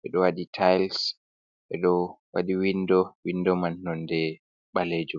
Ɓeɗo waɗi tayis ɓe ɗo waɗi windo, windo man nonde ɓalejum.